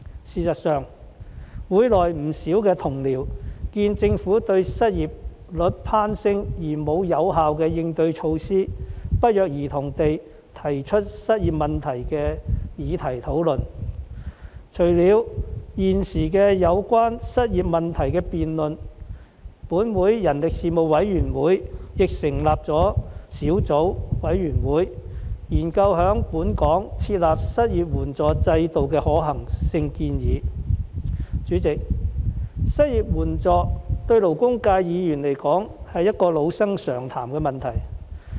事實上，議會內不少同事眼見政府對失業率攀升並無有效應對措施，均不約而同地提出有關失業問題的議題進行討論，除了現時有關失業問題的辯論外，本會人力事務委員會亦成立了小組委員會，研究在本港設立失業援助制度的可行建議。代理主席，失業援助對勞工界議員來說，是一個老生常談的問題。